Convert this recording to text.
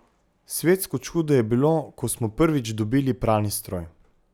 Svetsko čudo je bilo, ko smo prvič dobili pralni stroj.